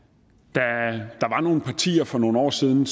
da nogle partier for nogle år siden